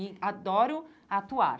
E adoro atuar.